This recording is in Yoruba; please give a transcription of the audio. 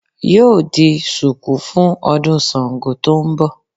Yóò di sùkú fún ọdún Sàngó tó n bọ̀